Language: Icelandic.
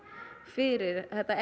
fyrir þetta